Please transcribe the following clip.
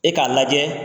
E k'a lajɛ